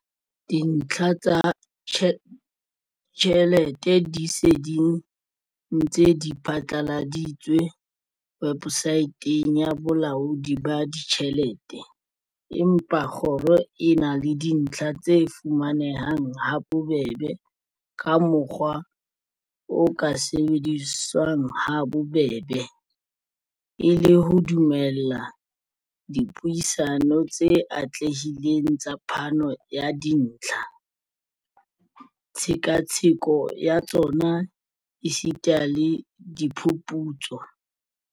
Dintlha tsa tjhelete di se di ntse di phatlaladitswe webosaeteng ya Bolaodi ba Ditjhelete, empa kgoro e na le dintlha tse fuma nehang habobebe ka mokgwa o ka sebediswang habobebe, e le ho dumella dipuisano tse atlehileng tsa phano ya dintlha, tshekatsheko ya tsona esita le diphuputso.